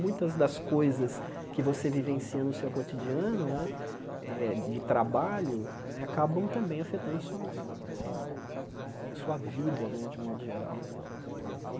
Muitas das coisas que você vivencia no seu cotidiano né, eh de trabalho, acabam também afetando sua sua sua vida né, de modo geral.